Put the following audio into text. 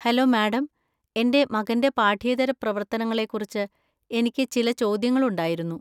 Hello, madam, എന്റെ മകന്‍റെ പാഠ്യേതര പ്രവർത്തനങ്ങളെക്കുറിച്ച് എനിക്ക് ചില ചോദ്യങ്ങളുണ്ടായിരുന്നു.